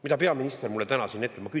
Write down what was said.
Mida peaminister mulle täna siin ütles?